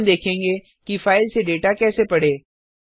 अब हम देखेंगे कि फाइल से डेटा कैसे पढ़ें